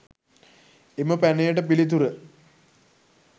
එම පැනයට පිළිතුර